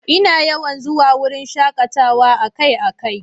Ina yawan zuwa wurin shakatawa akai-akai.